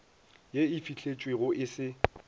ye e fihletšwego e se